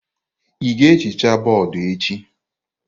Ị ga-ehicha bọọdụ echi?